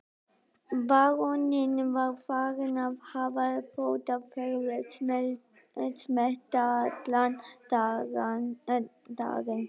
Baróninn var farinn að hafa fótaferð mestallan daginn.